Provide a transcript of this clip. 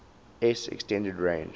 s extended range